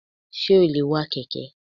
Sé o lè wa kèké?